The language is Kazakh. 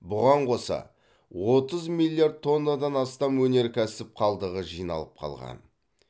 бұған қоса отыз миллиард тоннадан астам өнеркәсіп қалдығы жиналып қалған